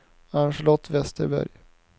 Ann-Charlotte Westerberg